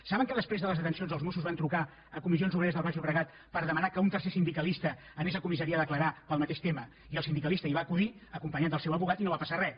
saben que després de les detencions els mossos van trucar a comissions obreres del baix llobregat per demanar que un tercer sindicalista anés a comissaria a declarar pel mateix tema i el sindicalista hi va acudir acompanyat del seu advocat i no va passar res